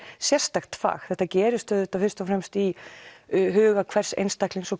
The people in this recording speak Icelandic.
sérstakt fag þetta gerist auðvitað fyrst og fremst í huga hvers einstaklings og